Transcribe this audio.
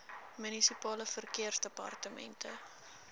munisipale verkeersdepartemente